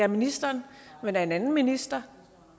minister men af en anden minister